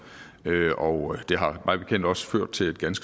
og det har mig bekendt også ført til